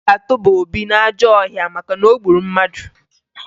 A ga-atụba Obi n'ajọ ọhịa maka na o gburu mmadụ